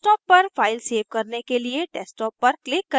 desktop पर file save करने के लिए desktop पर click करें